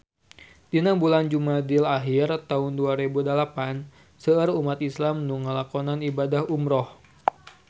Dina bulan Jumadil ahir taun dua rebu dalapan seueur umat islam nu ngalakonan ibadah umrah